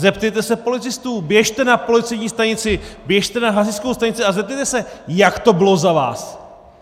Zeptejte se policistů, běžte na policejní stanici, běžte na hasičskou stanici, a zeptejte se, jak to bylo za vás!